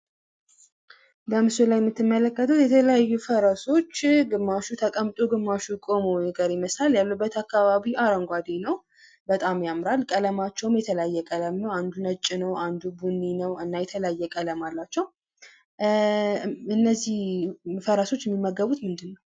በምስሉ ላይ የምትመለከቱት የተለያዩ ፈረሶች ፤ ግማሹ ተቀምጦ ፣ ግማሹ ቆሞ የሚቀር ይመስላል። ያሉበት አካባቢ አረንጓዴ ነው በጣም ያምራል። ቀለማቸውም የተለያየ ቀለም ነው። አንዱ ነጭ ነው፣ አንዱ ቡኒ ነው እና የተለያየ ቀለም አላቸው ። እና እነዚህ ፈረሶች የሚመገቡት ምንድን ነው?